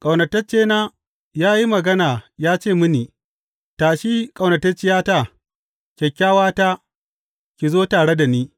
Ƙaunataccena ya yi magana ya ce mini, Tashi, ƙaunatacciyata, kyakkyawata, ki zo tare da ni.